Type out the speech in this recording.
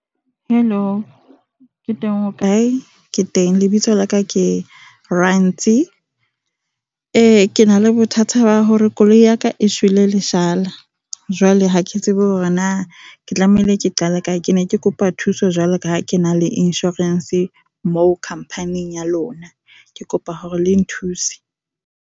Hello, ke teng o kae? Ke teng. Lebitso la ka ke Rantsi. Eh , ke na le bothata ba hore koloi ya ka e shwele leshala. Jwale ha ke tsebe hore na ke tlamehile ke qala kae. Ke ne ke kopa thuso jwalo ka ha ke na le insurance moo company-eng ya lona. Ke kopa hore le nthuse.